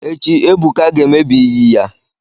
Echi, Ebuka ga-emebi iyi ya.